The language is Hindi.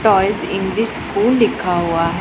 टॉयस इंग्लिश स्कूल लिखा हुआ है।